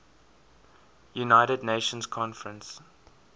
united nations conference